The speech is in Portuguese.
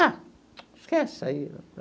Ah, esquece isso aí.